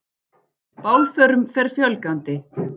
Bálförum fer fjölgandi